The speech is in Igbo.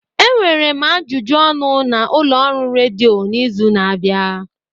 Enwere m ajụjụ ọnụ na ụlọọrụ redio n'izu na-abịa.